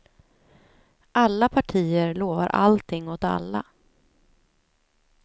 Alla partier lovar allting åt alla.